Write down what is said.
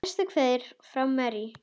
Bestu kveðjur frá okkur Marie.